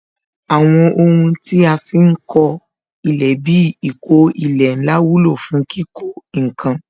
Àwọn ohun tí a fi ń kọ ilé bí ìkó ilẹ̀ ńlá wúlò fún kíkó ǹkan